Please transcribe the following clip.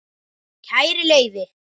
Kæri Leifi,